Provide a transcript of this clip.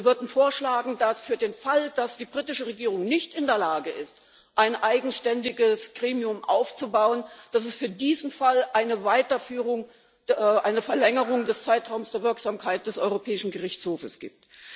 Wir würden vorschlagen, dass es für den Fall, dass die britische Regierung nicht in der Lage ist, ein eigenständiges Gremium aufzubauen, eine Weiterführung, eine Verlängerung des Zeitraums der Wirksamkeit des Europäischen Gerichtshofs gibt.